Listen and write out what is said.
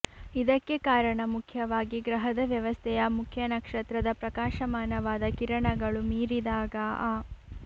ಇದಕ್ಕೆ ಕಾರಣ ಮುಖ್ಯವಾಗಿ ಗ್ರಹದ ವ್ಯವಸ್ಥೆಯ ಮುಖ್ಯ ನಕ್ಷತ್ರದ ಪ್ರಕಾಶಮಾನವಾದ ಕಿರಣಗಳು ಮೀರಿದಾಗ ಆ